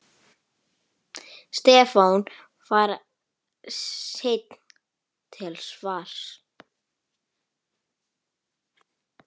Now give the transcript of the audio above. Stefán var seinn til svars.